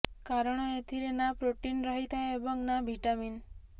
କାରଣ ଏଥିରେ ନା ପ୍ରୋଟିନ୍ ରହିଥାଏ ଏବଂ ନା ଭିଟାମିନ